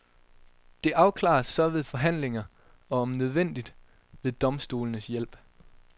Det afklares så ved forhandlinger og om nødvendigt ved domstolenes hjælp.